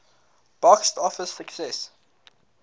box office success